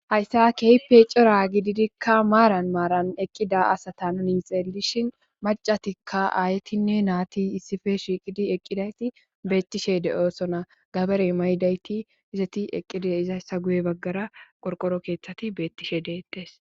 hayssa keipe cora gididikka maaran maaran eqqida asata nuni xeelishin macatikka aayetinne naati issife shiiqidi eqqidayti beettishe de7osona gaberey maydayti izati eqqide izayssa guye baggara qorqoro keeththati beettishe deettes